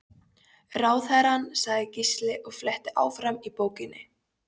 Ráðherrann, sagði Gísli og fletti áfram í bókinni.